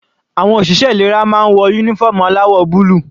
Àwọn òṣìṣẹ́ ìlera máa ń wọ uniform aláwọ̀ búlù.